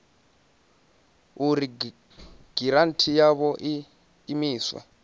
uri giranthi yavho i imiswe